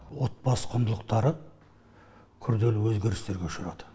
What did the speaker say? отбасы құндылықтары күрделі өзгерістерге ұшырады